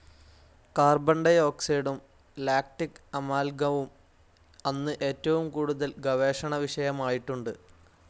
കാർബണ ഡി ഓക്സൈഡും ലാക്റ്റിക്‌ അമാൽഗവും അന്ന് ഏറ്റവും കൂടുതൽ ഗവേഷണ വിഷയമായിട്ടുണ്ട്.